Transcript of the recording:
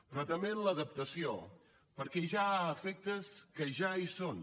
però també amb l’adaptació perquè ja hi ha efectes que ja hi són